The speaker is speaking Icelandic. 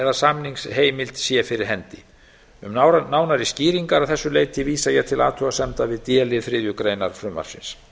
eða samningsheimild sé fyrir hendi um nánari skýringar að þessu leyti vísa ég til athugasemda við d lið þriðju greinar frumvarpsins